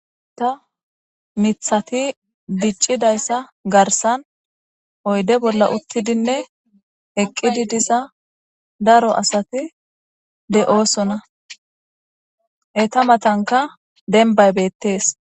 Ta mithati diccidayssa garsan oyde bolla uttidinne eqqidi diza daro asati de7oosona e ta matanka denbay beettees.